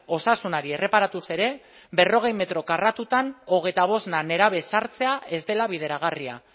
osasunari erreparatuz ere berrogei metro karratutan hogeita bost nerabe ezartzea ez dela bideragarria